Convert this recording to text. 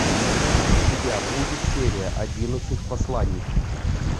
у тебя будет серия одиннадцать посланники